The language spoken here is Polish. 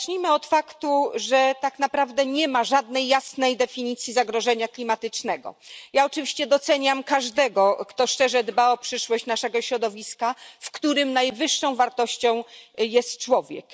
Zacznijmy od faktu, że tak naprawdę nie ma żadnej jasnej definicji zagrożenia klimatycznego. Ja oczywiście doceniam każdego, kto szczerze dba o przyszłość naszego środowiska, w którym najwyższą wartością jest człowiek.